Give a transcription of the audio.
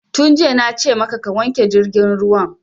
Tun jiya na ce maka ka wanke jirgin ruwan!